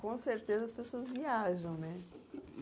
Com certeza as pessoas viajam, né?